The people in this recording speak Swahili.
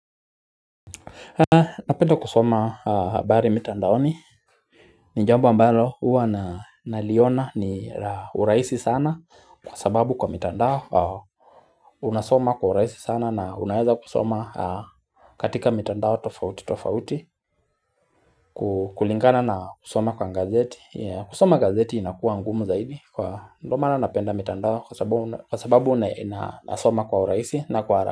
Napenda kusoma habari mitandaoni ni jambo ambalo huwa na naliona ni la urahisi sana Kwa sababu kwa mitandao unasoma kwa urahisi sana na unaeza kusoma katika mitandao tofauti tofauti kulingana na kusoma kwa gazeti, kusoma gazeti inakua ngumu zaidi kwa ndo maana napenda mitandao kwa sababu nasoma kwa urahisi na kwa hara.